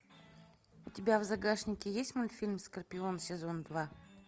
у тебя в загашнике есть мультфильм скорпион сезон два